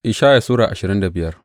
Ishaya Sura ashirin da biyar